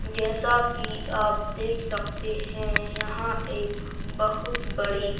जैसा कि आप देख सकते हैं यहां एक बहुत बड़ी--